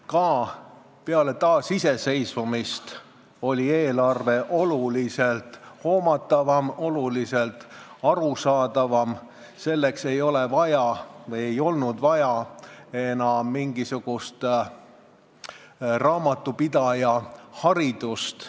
Ka peale taasiseseisvumist oli eelarve oluliselt hoomatavam ja arusaadavam – selleks ei olnud vaja mingisugust raamatupidajaharidust.